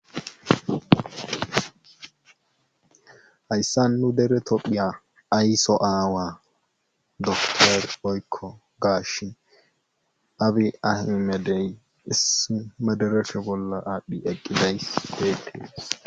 Hayssa nu dere tophiya ayso aawa doktor oykko gaashin abi ahmedey issima derefe bolla aadhdhi eqqidays deetee.